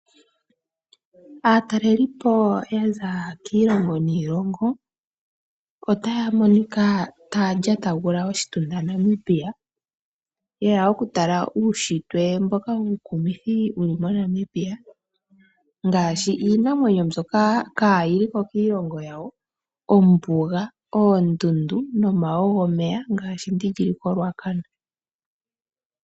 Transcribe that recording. Aantu ko paife ngeyi ihaya ende we oondjila oonde ngele ya hala okuya mpaka ya hala. Ohaya longitha oohauto .